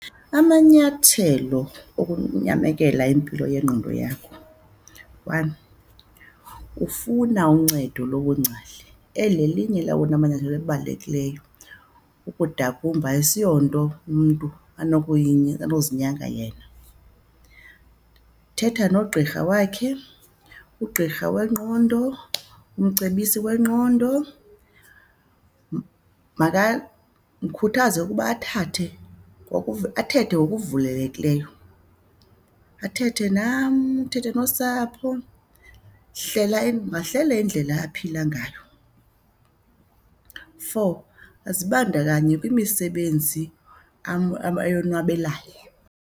Amanyathelo okunyamekela impilo yengqondo yakho, one, kufuna uncedo lobungcali. Eli lelinye lawona manyathelo abalulekileyo. Ukudakumba asiyonto umntu anozinyanga yena. Thetha nogqirha wakhe, ugqirha wengqondo, umcebisi wengqondo. Mkhuthaze ukuba athathe athethe ngokuvulelekileyo, athethe nam, athethe nosapho. Hlela mahlele indlela aphila ngayo. Four, azibandakanye kwimisebenzi ayonwabelayo.